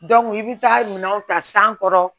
i bɛ taa minanw ta san kɔrɔ